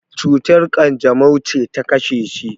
cutar kanjamau ce ta kashe shi?